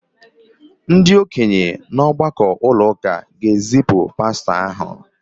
ndị okenye nọ n’ọgbakọ ụlọ ụka ga-ezipụ pastọ ahụ